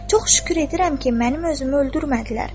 Çox şükür edirəm ki, mənim özümü öldürmədilər.